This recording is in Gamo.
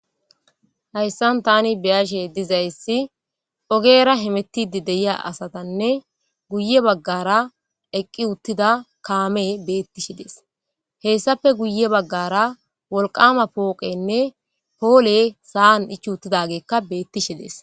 hayssan tani biyashe dizayssi ogeera himetide deyiya asatanne guye baggara eqqi uttida kaame beettishe dees hessafe guye baggara wolqama pooqenne poole saan ich uttidageekka beettishe dees